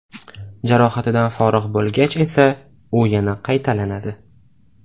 Jarohatidan forig‘ bo‘lgach esa, u yana qaytalanadi.